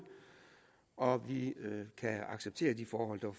og vi kan acceptere de forhold der